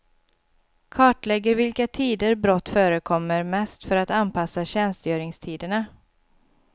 Kartlägger vilka tider brott förekommer mest för att anpassa tjänstgöringstiderna.